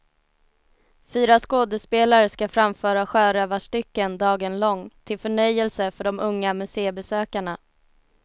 Fyra skådespelare skall framföra sjörövarstycken dagen lång, till förnöjelse för de unga museibesökarna.